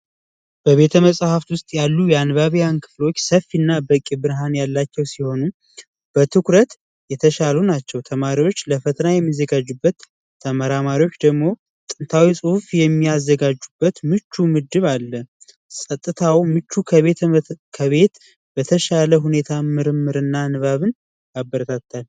በቤተ መጻፍት ውስጥ ያሉ የአንባቢያን ክፍሎች ንፋስና በቂ ብርሃን ያላቸው ሲሆኑ በትኩረት የተሻሉ ናቸው ተማሪዎች ለፈተና የሚዘጋጁበት ተመራማሪዎች ደግሞ ጥንታዊ ጽሁፍ የሚያዘጋጁበት ምቹ ምድብ አለ ፀጥታው ምቹ ከቤት በተሻለ ሁኔታ ምርምርና ንባብን ያበረታታል።